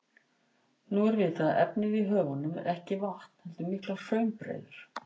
Nú er vitað að efnið í höfunum er ekki vatn heldur miklar hraunbreiður.